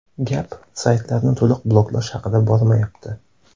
Gap saytlarni to‘liq bloklash haqida bormayapti.